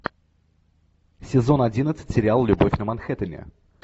сезон одиннадцать сериал любовь на манхэттене